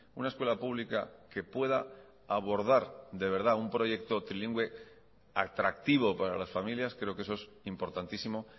una escuela pública que pueda abordar de verdad un proyecto trilingüe atractivo para las familias creo que eso es importantísimo